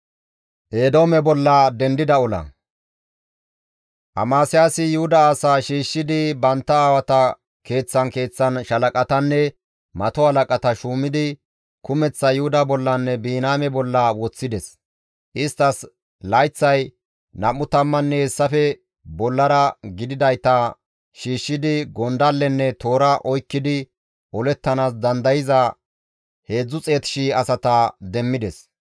Amasiyaasi Yuhuda asaa shiishshidi bantta aawata keeththan keeththan shaalaqatanne mato halaqata shuumidi kumeththa Yuhuda bollanne Biniyaame bolla woththides; isttas layththay nam7u tammanne hessafe bollara gididayta shiishshidi gondallenne toora oykkidi olettanaas dandayza 300,000 asata demmides.